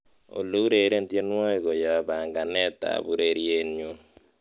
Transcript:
olly ureren tienywogik koyop panganet ab ureryenyun